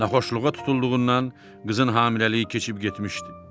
Naxoşluğa tutulduğundan qızın hamiləliyi keçib getmişdi.